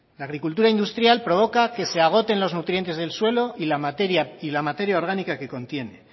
la agricultura industrial provoca que se agoten los nutrientes del suelo y la materia orgánica que contiene